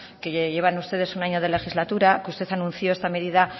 que llevan ustedes un año de legislatura que usted anunció esta medida